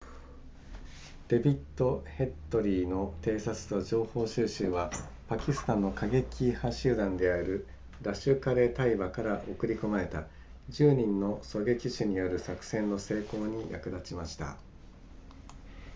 デビッドヘッドリーの偵察と情報収集はパキスタンの過激派集団であるラシュカレタイバから送り込まれた10人の狙撃手による作戦の成功に役立ちました